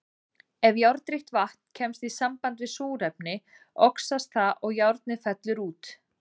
Ef járnríkt vatn kemst í samband við súrefni, oxast það og járnið fellur út.